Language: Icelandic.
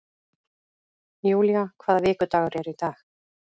Julia, hvaða vikudagur er í dag?